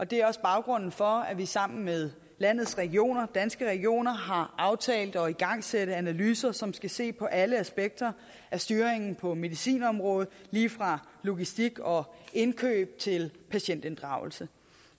det er også baggrunden for at vi sammen med landets regioner danske regioner har aftalt at igangsætte analyser som skal se på alle aspekter af styringen på medicinområdet lige fra logistik og indkøb til patientinddragelse